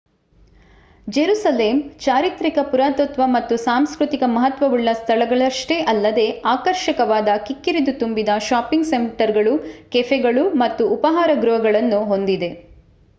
Jerusalem ಚಾರಿತ್ರಿಕ ಪುರಾತತ್ವ ಮತ್ತು ಸಾಂಸ್ಕೃತಿಕ ಮಹತ್ವವುಳ್ಳ ಸ್ಥಳಗಳಷ್ಟೇ ಅಲ್ಲದೆ ಆಕರ್ಷಕವಾದ ಕಿಕ್ಕಿರಿದು ತುಂಬಿದ ಷಾಪಿಂಗ್ ಸೆಂಟರ್ಗಳು ಕೆಫೆಗಳು ಮತ್ತು ಉಪಾಹಾರ ಗೃಹಗಳನ್ನು ಹೊಂದಿದೆ